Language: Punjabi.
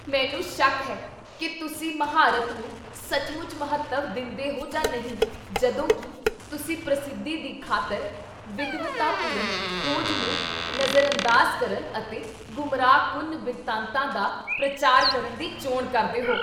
ਮੈਨੂੰ ਸ਼ੱਕ ਹੈ ਕੀ ਤੁਸੀਂ ਮਹਾਰਤ ਨੂੰ ਸੱਚਮੁੱਚ ਮਹੱਤਵ ਦਿੰਦੇਹੋ ਜਾਂ ਨਹੀਂ ਜਦੋਂ ਕੀ ਤੁਸੀਂ ਪ੍ਰਸਿੱਧੀ ਦੀ ਖ਼ਾਤਰ ਵਿਦਵਤਾਪੂਰਨ ਖੋਜ ਨੂੰ ਨਜ਼ਰਅੰਦਾਜ਼ ਕਰਨ ਅਤੇ ਗੁੰਮਰਾਹਕੁੰਨ ਬਿਰਤਾਂਤਾਂ ਦਾ ਪ੍ਰਚਾਰ ਕਰਨ ਦੀ ਚੋਣ ਕਰਦੇ ਹੋ।